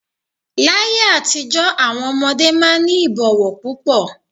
Láyé àtijọ́ àwọn ọmọdé máa ń ní ìbọ̀wọ̀ púpọ̀.